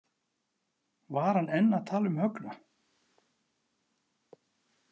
Var hann enn að tala um Högna?